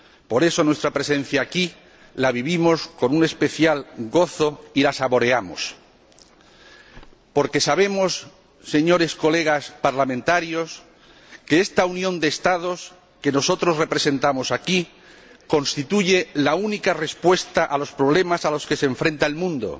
Por eso, nuestra presencia aquí la vivimos con un especial gozo y la saboreamos, porque sabemos, señores colegas parlamentarios, que esta unión de Estados que nosotros representamos aquí constituye la única respuesta a los problemas a los que se enfrenta el mundo,